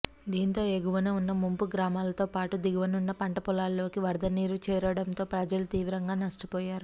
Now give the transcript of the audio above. దీంతో ఎగువన ఉన్న ముంపు గ్రామాలతో పాటు దిగువన ఉన్న పంట పొలాల్లోకి వరదనీరు చేరడంతో ప్రజలు తీవ్రంగా నష్టపోయారు